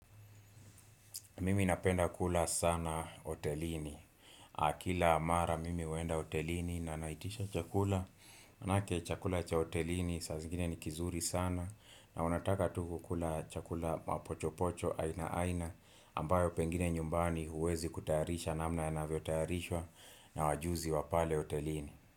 Mimi napenda kula sana hotelini Ah kila mara mimi huenda hotelini na naitisha chakula maanake chakula cha hotelini saa zingine ni kizuri sana na unataka tu kukula chakula mapochopocho aina aina ambayo pengine nyumbani huwezi kutayarisha namna yanavyo tayarishwa na wajuzi wapale hotelini.